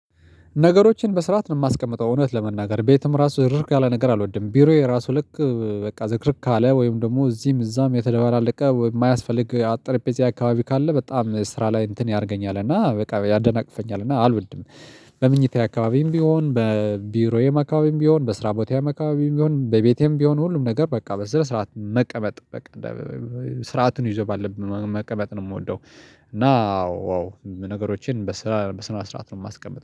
ነገሮችን በስርዓት ነው የማስቀምጠው እውነት ለመናገር ቤትም ራሱ ዝርክርክ ያለ ነገር አልወድም ቢሮዬ ራሱ ልክ በቃ ዝርክርክ ካለ ወይም ደግሞ እዚህም እዛም የተደበላለቀ የማያስፈልግ ጠረጴዛዬ አካባቢ ካለ በጣም ስራ ላይ እንትን ያደርገኛል እና በቃ ያደናቅፈኛል እና አልወድም። በመኝታዬ አካባቢም ቢሆን በቢሮዬ አካባቢ ቢሆን በስራ ቦታዬ አካባቢ ቢሆን በቤቴም ቢሆን ሁሉም ነገር በቃ በስነ ስርዓት መቀመጥ በቃ ስርዓትን ይዞ ባለብን መቀመጥ ነው የምወደው። እና አዎ ነገሮችን በስራ በስነ ስርዓት ነው የማስቀምጠው